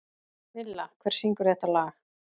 Villa, hver syngur þetta lag?